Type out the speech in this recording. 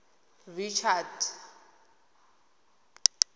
richards